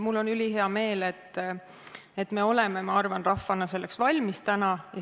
Mul on ülihea meel, et me oleme, ma arvan, rahvana täna selleks valmis.